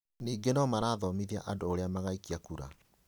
Ningĩ no marathomithia andũ ũrĩa magaikia kura